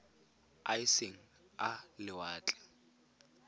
a e seng a lewatle